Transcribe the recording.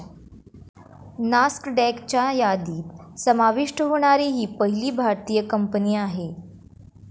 नास्कडॅकच्या यादीत समाविष्ट होणारी ही पहिली भारतीय कंपनी आहे.